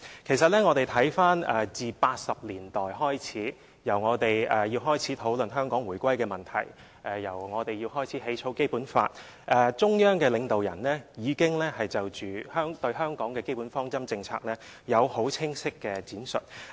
其實，自我們在1980年代開始討論香港回歸的問題和草擬《基本法》以來，中央領導人已經就香港的基本方針政策有很清晰的闡述。